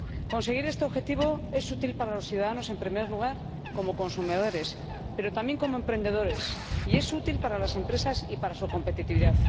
Conseguir este objetivo es útil para los ciudadanos, en primer lugar, como consumidores, pero también como emprendedores, y es útil para las empresas y para su competitividad.